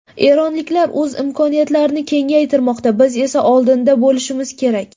Eronliklar o‘z imkoniyatlarini kengaytirmoqda, biz esa oldinda bo‘lishimiz kerak.